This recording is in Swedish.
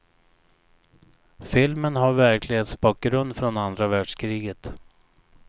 Filmen har verklighetsbakgrund från andra världskriget.